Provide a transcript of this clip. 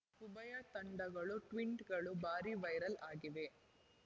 ಉಭಯ ತಂಡಗಳ ಟ್ವಿಂಟ್‌ಗಳು ಭಾರೀ ವೈರಲ್‌ ಆಗಿವೆ